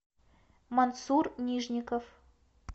мансур нижников